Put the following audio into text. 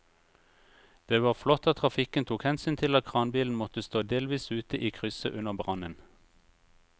Det var flott at trafikken tok hensyn til at kranbilen måtte stå delvis ute i krysset under brannen.